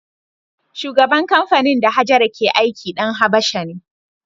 Shugaban kamfanin da Hajara ke aiki ɗan Habasha ne.